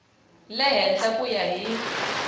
le henhla ku ya hi